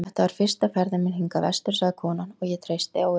Þetta er fyrsta ferðin mín hingað vestur, sagði konan, og ég treysti á Ögur.